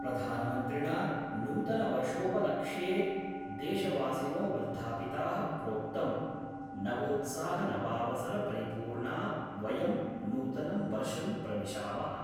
प्रधानमन्त्रिणा नूतनवर्षोपलक्ष्ये देशवासिनो वर्धापिता: प्रोक्तं नवोत्साहनवावसर परिपूर्णा वयं नूतनं वर्षं प्रविशामः।